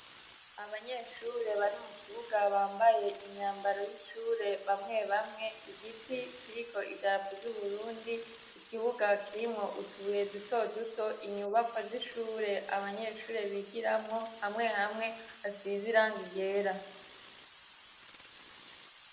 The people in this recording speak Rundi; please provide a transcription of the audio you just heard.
Abanyeshure bari mu kibuga bambaye imyambaro y'ishure bamwe bamwe igiti kiriko idarapu ry'uhurundi ikibuga kirimwo utubuye dutoduto inyubako az'ishure abanyeshure bigiramwo hamwe hamwe asiziranga irera.